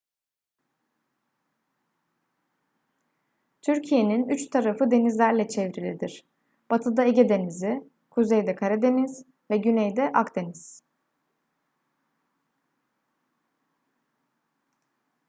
türkiye'nin üç tarafı denizlerle çevrilidir batıda ege denizi kuzeyde karadeniz ve güneyde akdeniz